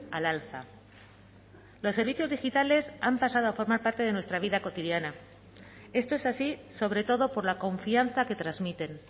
al alza los servicios digitales han pasado a formar parte de nuestra vida cotidiana esto es así sobre todo por la confianza que transmiten